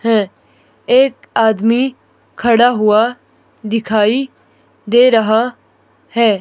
हैं एक आदमी खड़ा हुआ दिखाई दे रहा है।